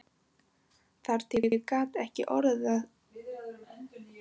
Þar til ég gat ekki orða bundist og spurði